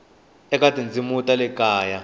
eka tindzimi ta le kaya